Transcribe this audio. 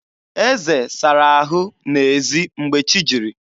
Eze sara ahụ n'ezi mgbe chi jiri